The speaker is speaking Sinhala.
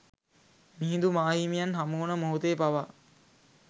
මිහිඳු මාහිමියන් හමුවන මොහොතේ පවා